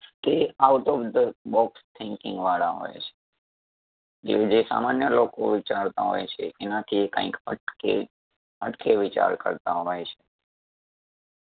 તે out of the box thinking વાળા હોય છે . કે જે સામાન્ય લોકો વિચારતા હોય છે એનાથી એ કાઈક હટકે હટકે વિચાર કરતાં હોય છે.